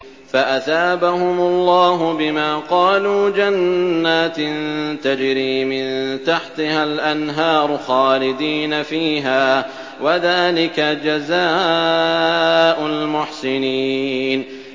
فَأَثَابَهُمُ اللَّهُ بِمَا قَالُوا جَنَّاتٍ تَجْرِي مِن تَحْتِهَا الْأَنْهَارُ خَالِدِينَ فِيهَا ۚ وَذَٰلِكَ جَزَاءُ الْمُحْسِنِينَ